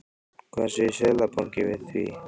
Hvað segir Seðlabankinn við því?